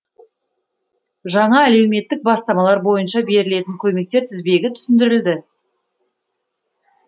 жаңа әлеуметтік бастамалар бойынша берілетін көмектер тізбегі түсіндірілді